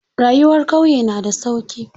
Rayuwar ƙauye na da sauki.